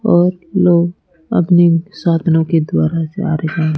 और लोग अपने साधनों के द्वारा जा रहें--